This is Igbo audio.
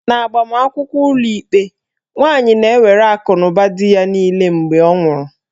N'agbamakwụkwọ ụlọikpe, nwaanyi na-ewere akụnụba dị ya niile ma ọ nwụọ.